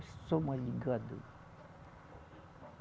Só uma ligada.